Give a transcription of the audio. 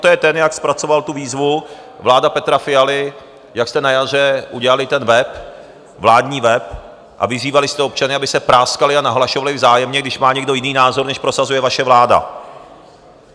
To je ten, jak zpracoval tu výzvu, vláda Petra Fialy, jak jste na jaře udělali ten web, vládní web, a vyzývali jste občany, aby se práskali a nahlašovali vzájemně, když má někdo jiný názor, než prosazuje vaše vláda.